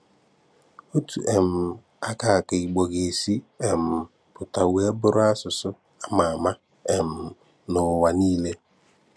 Òtù um à kà kà Ìgbò gà-èsí um pụta wéè bùrù àsụ̀sụ̀ à mà àmà um n’ụ̀wà nílè.